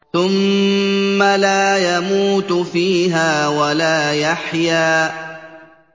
ثُمَّ لَا يَمُوتُ فِيهَا وَلَا يَحْيَىٰ